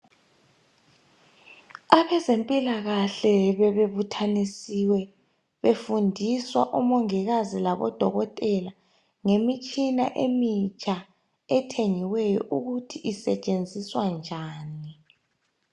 Abezempilakahle bebe buthanisiwe befundiswa omongikazi labodokotela ngemitshina emitsha ethengiweyo ukuthi isetshenziswa njani.